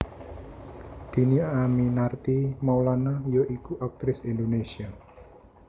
Dhini Aminarti Maulana ya iku aktris Indonésia